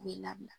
U bɛ labila